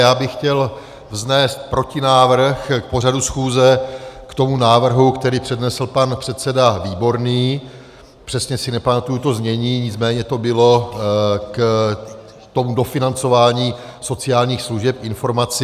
Já bych chtěl vznést protinávrh k pořadu schůze k tomu návrhu, který přednesl pan předseda Výborný, přesně si nepamatuji to znění, nicméně to bylo k tomu dofinancování sociálních služeb - informaci.